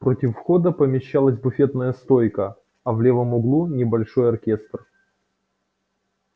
против входа помещалась буфетная стойка а в левом углу небольшой оркестр